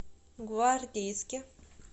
гвардейске